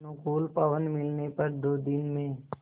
अनुकूल पवन मिलने पर दो दिन में